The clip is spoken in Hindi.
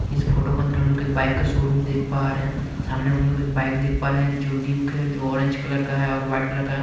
इस फोटो के अंदर हम लोग एक बाइक का शोरूम देख पा रहे हैं सामने हम लोग एक बाइक देख पा रहे हैं जो ड्यूक है जो ऑरेंज कलर का है और वाइट कलर का है।